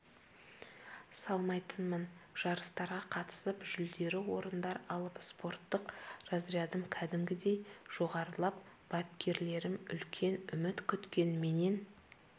салмайтынмын жарыстарға қатысып жүлделі орындар алып спорттық разрядым кәдімгідей жоғарылап бапкерлерім үлкен үміт күткен менен